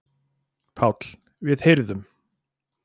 PÁLL: Við heyrðum.